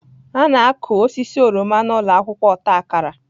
A na-akụ osisi oroma na ụlọ akwụkwọ ọta akara.